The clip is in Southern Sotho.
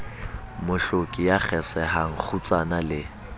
mohloki ya kgesehang kgutsana le